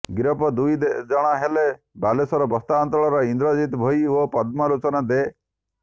ଗିରଫ ଦୁଇ ଜଣ ହେଲେ ବାଲେଶ୍ୱର ବସ୍ତା ଅଞ୍ଚଳର ଇନ୍ଦ୍ରଜିତ୍ ଭୋଇ ଓ ପଦ୍ମଲୋଚନ ଦେ